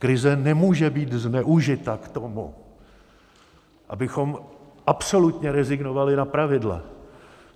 Krize nemůže být zneužita k tomu, abychom absolutně rezignovali na pravidla.